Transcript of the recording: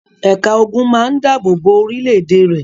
Ẹ̀ka ogun máa ń dáàbò bo orílẹ̀-èdè rẹ̀.